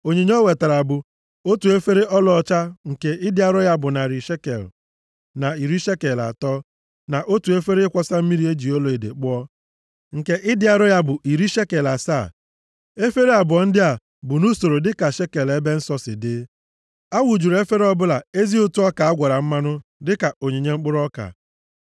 Onyinye o wetara bụ: otu efere ọlaọcha nke ịdị arọ ya bụ narị shekel na iri shekel atọ, na otu efere ịkwọsa mmiri e ji ọlaedo kpụọ, nke ịdị arọ ya bụ iri shekel asaa, efere abụọ ndị a bụ nʼusoro dịka shekel ebe nsọ si dị. A wụjuru efere ọbụla ezi ụtụ ọka a gwara mmanụ dịka onyinye mkpụrụ ọka.